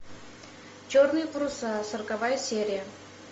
черные паруса сороковая серия